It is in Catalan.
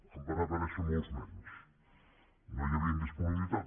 en van aparèixer molts menys no hi havia disponibilitat